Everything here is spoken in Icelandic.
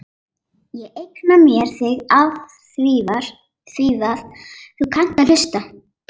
Ég eigna mér þig afþvíað þú kannt að hlusta.